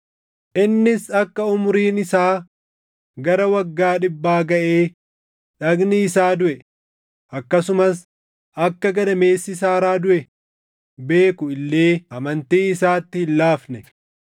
Innis akka umuriin isaa gara waggaa dhibbaa gaʼee dhagni isaa duʼe, akkasumas akka gadameessi Saaraa duʼe beeku illee amantii isaatti hin laafne.